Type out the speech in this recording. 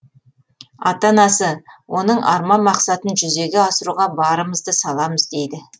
ата анасы оның арман мақсатын жүзеге асыруға барымызды саламыз дейді